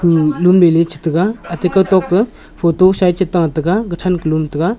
lun mei chata ga aita kaw toh khi photo sa aa chu ta taiga ta than to lum taiga.